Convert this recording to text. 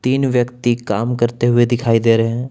तीन व्यक्ति काम करते हुए दिखाई दे रहे हैं।